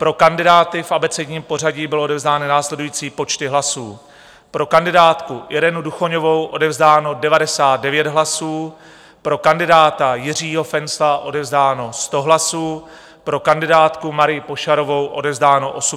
Pro kandidáty v abecedním pořadí byly odevzdány následující počty hlasů: pro kandidátku Irenu Duchoňovou odevzdáno 99 hlasů, pro kandidáta Jiřího Fencla odevzdáno 100 hlasů, pro kandidátku Marii Pošarovou odevzdáno 87 hlasů.